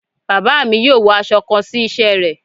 Baba mi yóò wọ aṣọ kàn si iṣẹ́ rẹ